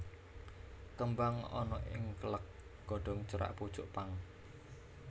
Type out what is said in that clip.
Kembang ana ing kèlèk godhong cerak pucuk pang